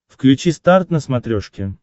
включи старт на смотрешке